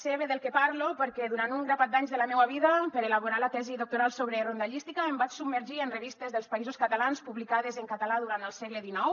sé bé del que parlo perquè durant un grapat d’anys de la meua vida per elaborar la tesi doctoral sobre rondallística em vaig submergir en revistes dels països catalans publicades en català durant el segle xix